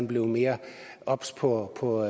blevet mere obs på på